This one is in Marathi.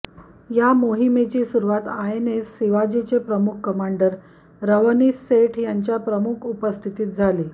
या मोहिमेची सुरुवात आयएनएस शिवाजीचे प्रमुख कमोडोर रवनीश सेठ यांच्या प्रमुख उपस्थितीत झाली